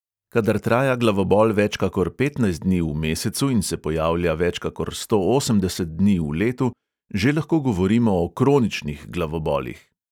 Kadar traja glavobol več kakor petnajst dni v mesecu in se pojavlja več kakor sto osemdeset dni v letu, že lahko govorimo o kroničnih glavobolih.